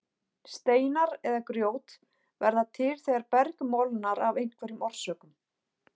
Steinar eða grjót verða til þegar berg molnar af einhverjum orsökum.